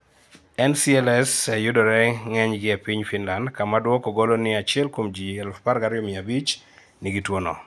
NCLs yudore ng'enygi piny Finland, kama duoko golo ni achiel kuom ji 12,500 nigi tuono